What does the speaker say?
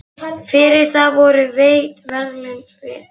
Fyrir það voru veitt verðlaun, ferð til